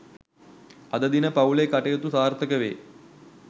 අද දින පවු‍ලේ කටයුතු සාර්ථක වේ